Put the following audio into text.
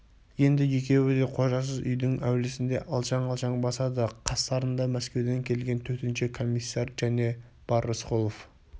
енді екеуі де қожасыз үйдің әулісінде алшаң-алшаң басады қастарында мәскеуден келген төтенше комиссар және бар рысқұлов